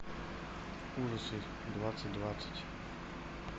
ужасы двадцать двадцать